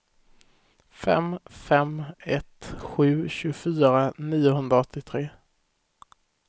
fem fem ett sju tjugofyra niohundraåttiotre